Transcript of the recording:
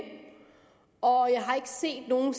og jeg har ikke set nogen